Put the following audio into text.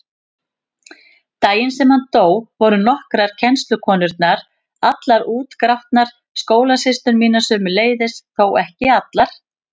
Daginn sem hann dó voru nokkrar kennslukonurnar allar útgrátnar, skólasystur mínar sömuleiðis, þó ekki allar.